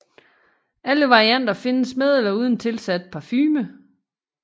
Alle varianter findes med eller uden tilsat parfume